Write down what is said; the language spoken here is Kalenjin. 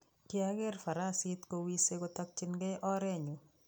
kiageer farasit kowisei kotokchikei oret nyu